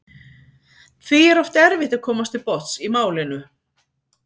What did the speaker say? Því er oft erfitt að komast til botns í málinu.